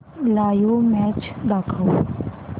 live match दाखव